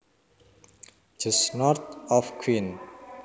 just north of Queen